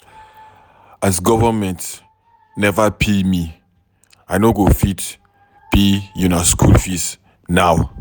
As government neva pay me, I no go fit pay una skool fees now.